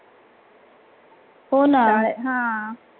हो ना.